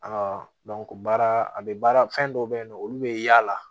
baara a bɛ baara fɛn dɔw bɛ yen nɔ olu bɛ yaala